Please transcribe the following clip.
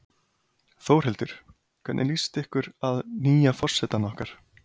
Þórhildur: Hvernig líst ykkur að nýja forsetann okkar?